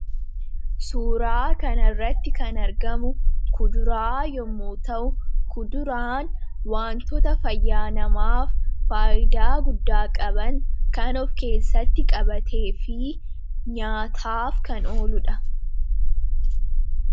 Suuraa kanaa gadii irratti kan argamu kuduraa yammuu ta'u innis wantoota faayidaa dhala namaaf Kennan keessaa isa ijoo dha.